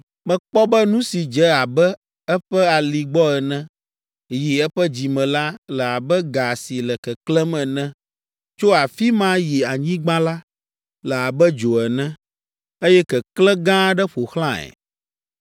Mekpɔ be nu si dze abe eƒe ali gbɔ ene, yi eƒe dzime la, le abe ga si le keklẽm ene. Tso afi ma yi anyigba la, le abe dzo ene, eye keklẽ gã aɖe ƒo xlãe.